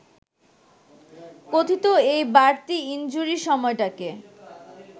কথিত এই বাড়তি ইনজুরি সময়টাকে